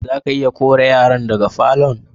Za ka iya kore yaran daga falo'n?